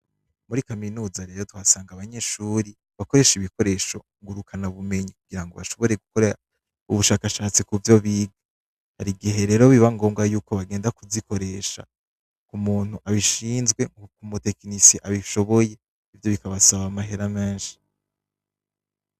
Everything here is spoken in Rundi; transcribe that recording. Muri kaminuza rero tuhasanga abanyeshuri bakoreshe ibikoresho ngurukana bumenyi kugira ngo bashobore gukora ubushakashatsi ku vyo biga hari igihe rero biba ngombwa yuko bagenda kuzikoresha ku muntu abishinzwe nko ku mutekinisi abishoboye ivyo bikabasaba amahera menshi.